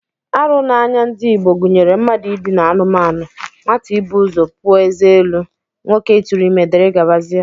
Arụ n'anya ndị Igbo gụnyere mmadụ idina anụmanụ, nwata ibu ụzọ pụọ eze elu, nwoke ịtụrụ ime, dgz